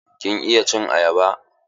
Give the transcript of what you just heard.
Kin iya cin ayaba?